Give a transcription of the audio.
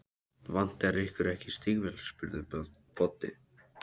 Vantar ykkur ekki stígvél? spurði Böddi.